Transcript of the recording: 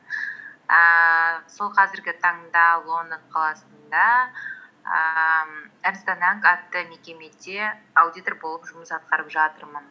ііі сол қазіргі таңда лондон қаласында ііі эрнест энд янг атты мекемеде аудитор болып жұмыс атқарып жатырмын